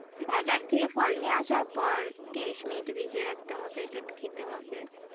বাজার থেকে ফল নিয়ে আসার পর ত্রিশ মিনিট ভিজিয়ে রাখতে হবে then খেতে হবে।